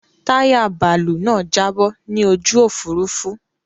Táyà bàálú náà jábọ́ ni ojú Òfurufú.